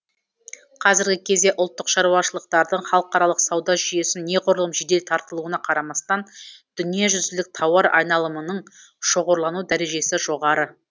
қазіргі кезде ұлттық шаруашылықтардың халыкаралық сауда жүйесіне неғұрлым жедел тартылуына қарамастан дүниежүзілік тауар айналымының шоғырлану дәрежесі жоғары